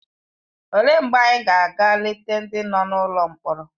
Olee mgbe anyị ga-aga eleta ndị nọ n’ụlọ mkpọrọ?